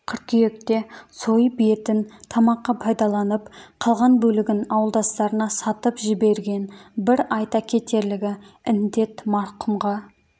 қыркүйекте сойып етін тамаққа пайдаланып қалған бөлігін ауылдастарына сатып жіберген бір айта кетерлігі індет марқұмға